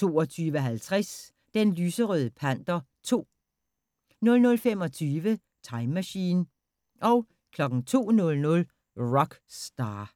22:50: Den lyserøde panter 2 00:25: Time Machine 02:00: Rock Star